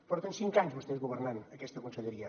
porten cinc anys vostès governant aquesta conselleria